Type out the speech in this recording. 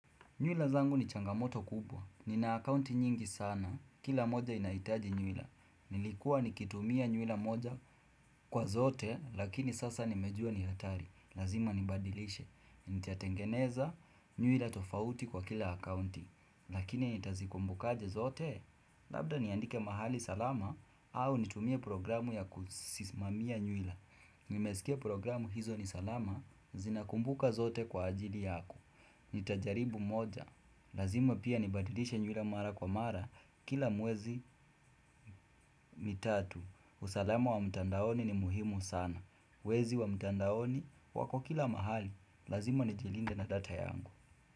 Nyula zangu ni changamoto kubwa. Nina akaunti nyingi sana. Kila moja inahitaji nyula. Nilikuwa nikitumia nyula moja kwa zote lakini sasa nimejua ni hatari. Lazima nibadilishe. Nitatengeneza nywila tofauti kwa kila akaunti. Lakini nitazikumbukaje zote? Labda niandike mahali salama au nitumie programu ya kuzisimamia nywila Nimesikia programu hizo ni salama zinakumbuka zote kwa ajili yangu Nitajaribu moja. Lazima pia nibadilishe nywila mara kwa mara, kila miezi mitatu. Usalama wa mtandaoni ni muhimu sana. Wezi wa mtandaoni wako kila mahali, lazima nijilinde na data yangu.